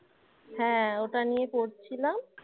হ্যাঁ ওটা নিয়ে পড়ছিলাম